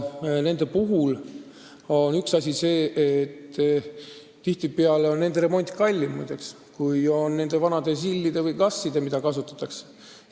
Uute puhul on üks nüanss see, et tihtipeale on nende remont kallim kui vanadel ZIL-idel ja GAZ-idel, mida siiamaani kasutatakse.